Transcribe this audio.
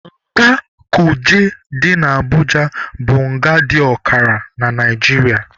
Nga Kuje dị na Abuja bụ nga dị ọkara na Naijiria.